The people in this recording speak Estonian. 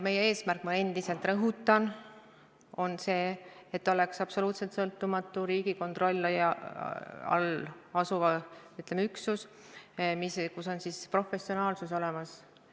Meie eesmärk, ma endiselt rõhutan, on see, et oleks absoluutselt sõltumatu Riigikontrolli all asuv, ütleme, üksus, kus on professionaalsus olemas.